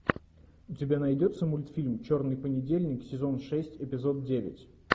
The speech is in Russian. у тебя найдется мультфильм черный понедельник сезон шесть эпизод девять